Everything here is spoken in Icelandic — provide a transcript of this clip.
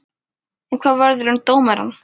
En hvað verður um dómarinn?